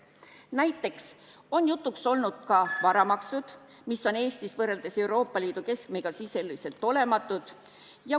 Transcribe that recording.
Näiteks on jutuks olnud ka varamaksud, mis on Eestis võrreldes Euroopa Liidu keskmisega sisuliselt olematud.